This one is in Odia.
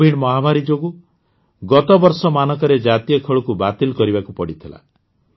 କୋଭିଡ ମହାମାରୀ ଯୋଗୁଁ ଗତବର୍ଷମାନଙ୍କରେ ଜାତୀୟ ଖେଳକୁ ବାତିଲ୍ କରିବାକୁ ପଡ଼ିଥିଲା